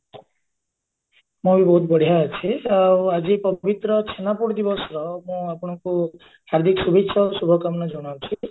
ମୁଁ ବି ବହୁତ ବଢିଆ ଅଛି ଆଉ ଆଜି ପବିତ୍ର ଛେନାପୋଡ ଦିବସର ମୁଁ ଆପଣଙ୍କୁ ହାର୍ଦିକ ଶୁଭେଚ୍ଚା ଓ ଶୁଭକାମନା ଜଣାଉଛି